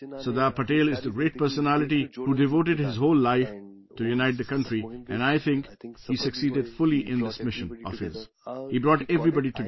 Sardar Patel is the great personality who devoted his whole life to unite the country and, I think, he succeeded fully in this mission of his, he brought everybody together